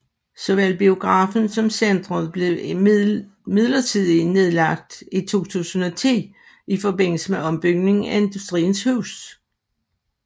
Såvel biografen som centret blev midlertidigt nedlagt i 2010 i forbindelse med ombygningen af Industriens Hus